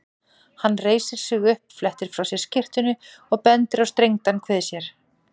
Hann reisir sig upp, flettir frá sér skyrtunni og bendir á strengdan kvið sér.